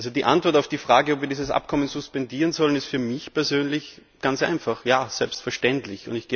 Die Antwort auf die Frage, ob wir dieses Abkommen suspendieren sollen, ist für mich persönlich ganz einfach Ja, selbstverständlich!